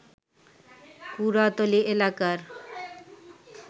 কুড়াতলী এলাকার